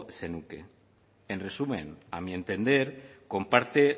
zenuke en resumen a mi entender comparte